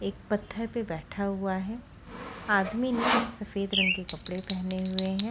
एक पत्थर पे बैठा हुआ है आदमी ने सफ़ेद रंग के कपडे पहने हुए है।